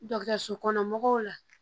Dɔgɔtɔrɔso kɔnɔ mɔgɔw la